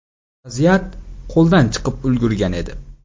Vaziyat qo‘ldan chiqib ulgurgan edi.